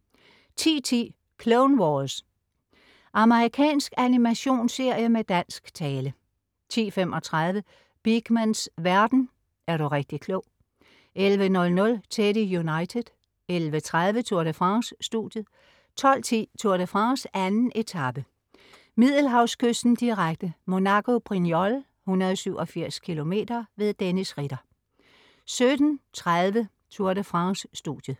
10.10 Clone Wars. Amerikansk animationsserie med dansk tale 10.35 Beakmans verden. - er du rigtig klog! 11.00 Teddy United 11.30 Tour de France: Studiet 12.10 Tour de France: 2. etape, Middelhavskysten, direkte. Monaco-Brignoles, 187 km. Dennis Ritter 17.30 Tour de France: Studiet